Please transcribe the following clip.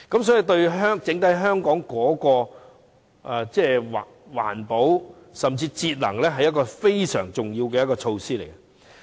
所以，對於整體香港的環保甚至節能，實是一項非常重要的措施。